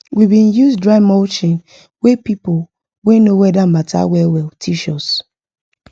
we bin use dry mulching wey people wey know weather matter well well teach us